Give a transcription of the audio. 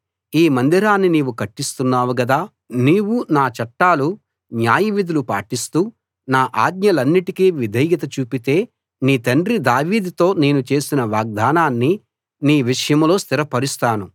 ఈ మందిరాన్ని నీవు కట్టిస్తున్నావు కదా నీవు నా చట్టాలు న్యాయవిధులు పాటిస్తూ నా ఆజ్ఞలన్నిటికీ విధేయత చూపితే నీ తండ్రి దావీదుతో నేను చేసిన వాగ్దానాన్ని నీ విషయంలో స్థిరపరుస్తాను